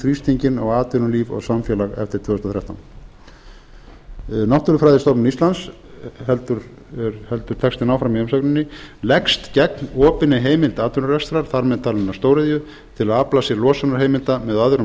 þrýstinginn á atvinnulíf og samfélag eftir tvö þúsund og þrettán náttúrufræðistofnun íslands heldur textinn áfram í umsögninni leggst gegn opinni heimild atvinnurekstrar þar með talinni stóriðju til að afla sér losunarheimilda með öðrum